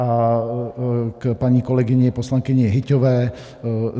A k paní kolegyni poslankyni Hyťhové.